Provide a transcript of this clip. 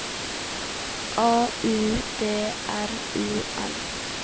A U D R U N